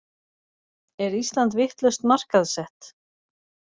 Er Ísland vitlaust markaðssett